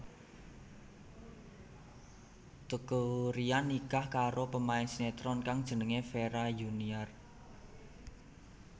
Teuku Ryan nikah karo pemain sinetron kang jenengé Vira Yuniar